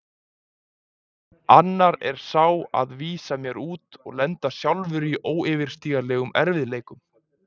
Annar er sá að vísa mér út og lenda sjálf í óyfirstíganlegum erfiðleikum.